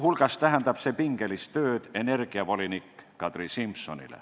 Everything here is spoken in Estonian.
See tähendab pingelist tööd energiavolinik Kadri Simsonile.